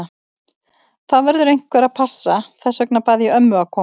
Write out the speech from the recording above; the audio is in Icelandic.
Það verður einhver að passa, þess vegna bað ég ömmu að koma.